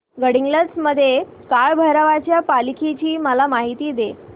गडहिंग्लज मधील काळभैरवाच्या पालखीची मला माहिती दे